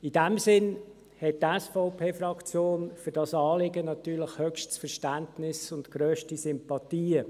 In diesem Sinn hat die SVP-Fraktion für dieses Anliegen natürlich höchstes Verständnis und grösste Sympathien.